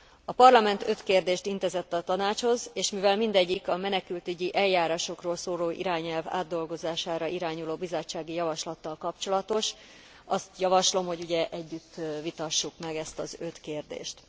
A Parlament öt kérdést intézett a Tanácshoz, és mivel mindegyik a menekültügyi eljárásokról szóló irányelv átdolgozására irányuló bizottsági javaslattal kapcsolatos, azt javaslom, hogy együtt vitassuk meg ezt az öt kérdést.